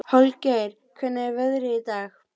Holgeir, hvernig er veðrið í dag?